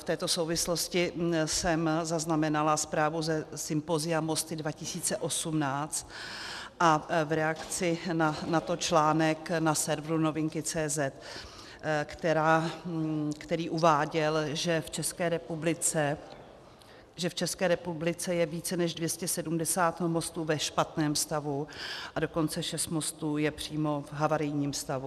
V této souvislosti jsem zaznamenala zprávu ze sympozia Mosty 2018 a v reakci na to článek na serveru Novinky.cz, který uváděl, že v České republice je více než 270 mostů ve špatném stavu, a dokonce šest mostů je přímo v havarijním stavu.